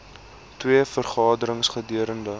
twee vergaderings gedurende